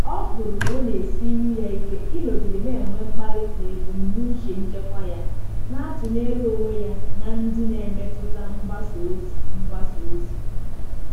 Ọ hụrụ na ọ na-esiri ya ike ịnọgide na-enwe mkpali na ebumnuche nchekwa ya, na-atụnyere onwe ya na ndị na-emetụta mgbasa ozi mgbasa ozi.